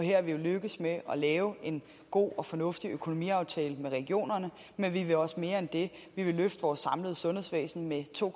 og her er vi jo lykkedes med at lave en god og fornuftig økonomiaftale med regionerne men vi vil også mere end det vi vil løfte vores samlede sundhedsvæsen med to